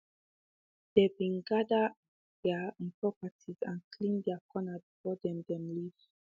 dem be gather um their um property and clean their corner before dem dem leave um